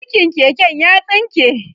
burkin keken ya tsinke